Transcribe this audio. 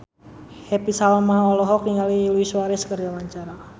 Happy Salma olohok ningali Luis Suarez keur diwawancara